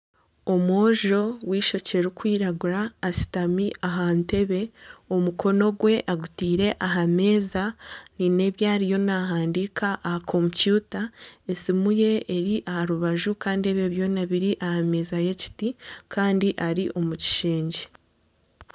Omwojo ow'eishokye ririkwiragura ashutami aha ntebe omukono gwe agitaire aha meeza haine ebi ariyo naahandiika aha kompyuta esimu ye eri aha rubaju kandi ebyo byona biri aha meeza y'ekiti kandi ari omu kishengye.